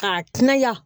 K'a kunnaya